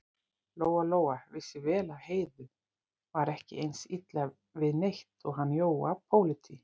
Lóa-Lóa vissi vel að Heiðu var ekki eins illa við neitt og hann Jóa pólití.